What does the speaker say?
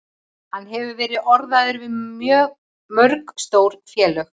Hann hefur verið orðaður við mörg stór félög.